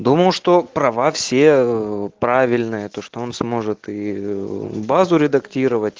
думал что права все ээ правильные то что он сможет и базу редактировать